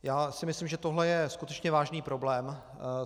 Já si myslím, že tohle je skutečně vážný problém.